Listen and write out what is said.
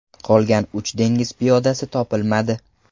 Qolgan uch dengiz piyodasi topilmadi.